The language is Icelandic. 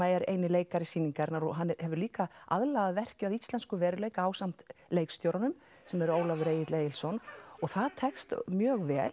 er eini leikari sýningarinnar og hann hefur líka aðlagað verkið að íslenskum veruleika ásamt leikstjóranum sem er Ólafur Egill Egilsson og það tekst mjög vel